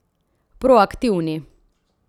Proaktivni.